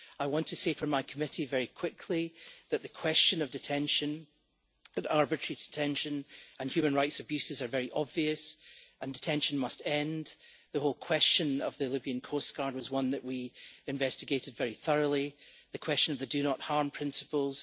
I want to say from my committee very quickly that the question of arbitrary detention and human rights abuses are very obvious and detention must end. The whole question of the Libyan coast guard was one that we investigated very thoroughly the question of the do not harm' principles